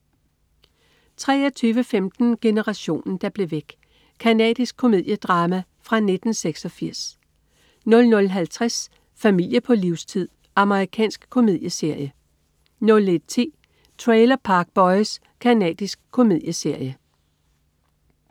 23.15 Generationen der blev væk. Canadisk komediedrama fra 1986 00.50 Familie på livstid. Amerikansk komedieserie 01.10 Trailer Park Boys. Canadisk komedieserie